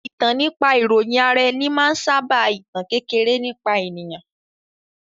Ìtàn nípa ìròyìn ara ẹni máa ń sábà ìtàn kékeré nípa ènìyàn